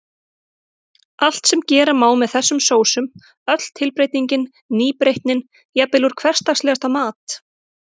Allt sem gera má með þessum sósum, öll tilbreytingin, nýbreytnin, jafnvel úr hversdagslegasta mat.